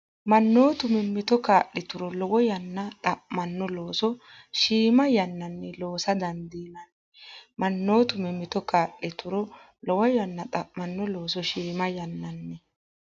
Mannootu mimmito kaa’lituro lowo yanna xa’manno looso shiima yannanni loosa dandiinanni Mannootu mimmito kaa’lituro lowo yanna xa’manno looso shiima yannanni.